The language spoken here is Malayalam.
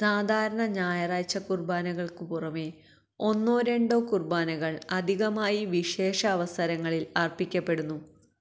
സാധാരണ ഞായറാഴ്ചക്കുര്ബാനകള്ക്കു പുറമേ ഒന്നോ രണ്ടോ കുര്ബാനകള് അധികമായി വിശേഷാവസരങ്ങളില് അര്പ്പിക്കപ്പെടുന്നു